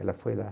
Ela foi lá.